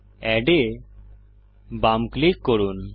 add এ বাম click করুন